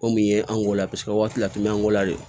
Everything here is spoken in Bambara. O min ye an go la paseke waati laturu an gola de don